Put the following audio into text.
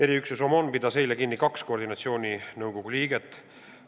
Eriüksus OMON pidas eile kinni kaks koordinatsiooninõukogu liiget.